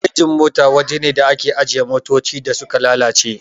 Garejin mota waja ne da ake ajiye motoci da suka lalace